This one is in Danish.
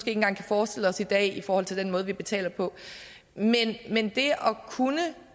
engang kan forestille os i dag i forhold til den måde vi betaler på men det